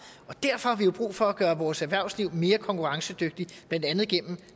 derfor har vi jo brug for at gøre vores erhvervsliv mere konkurrencedygtigt blandt andet gennem en